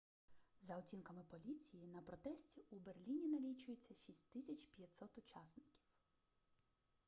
за оцінками поліції на протесті у берліні налічується 6500 учасників